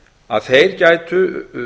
að þeir gætu